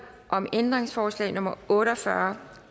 om ændringsforslag nummer otte og fyrre